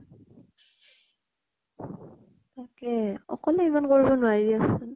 তাকেই অকলে ইমান কৰিব নোৱাৰি দেচোন।